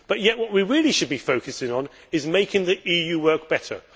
But yet what we really should be focusing on is making the EU work better.